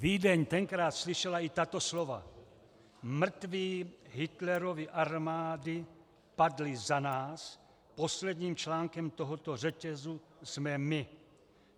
Vídeň tenkrát slyšela i tato slova: Mrtví Hitlerovy armády padli za nás, posledním článkem tohoto řetězu jsme my.